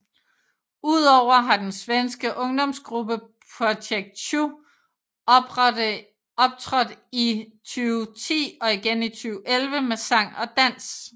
Udover har den svenske ungdomsgruppe Project Chu optrådt i 2010 og igen i 2011 med sang og dans